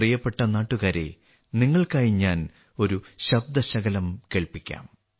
പ്രിയപ്പെട്ട നാട്ടുകാരേ നിങ്ങൾക്കായി ഞാൻ ഒരു ശബ്ദശകലം കേൾപ്പിക്കാം